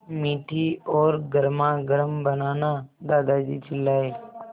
मीठी और गर्मागर्म बनाना दादाजी चिल्लाए